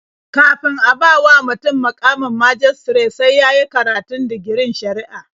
Kafin a bawa mutum muƙamin majistare sai ya yi karatun digirin shari'a.